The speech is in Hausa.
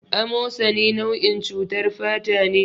A mosani nau'in cutar fatane